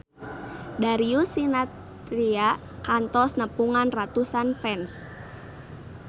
Darius Sinathrya kantos nepungan ratusan fans